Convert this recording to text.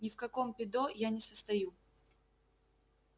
ни в каком пидо я не состою